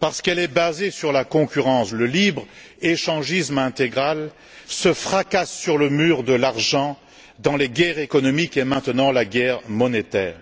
parce qu'elle est basée sur la concurrence, le libre échangisme intégral, se fracasse sur le mur de l'argent dans les guerres économiques et, maintenant, la guerre monétaire.